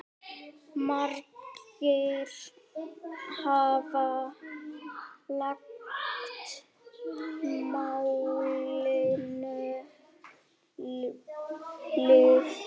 Margir hafa lagt málinu lið.